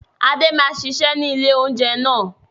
Adé máa ṣiṣẹ́ ni ilé oúnjẹ náà.